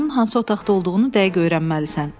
Onun hansı otaqda olduğunu dəqiq öyrənməlisən.